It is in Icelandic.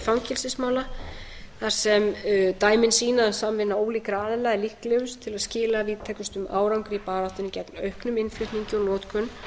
fangelsismála þar sem dæmin sýna að samvinna ólíkra aðila er líklegust til að skila víðtækustum árangri í baráttunni gegn auknum innflutningi og notkun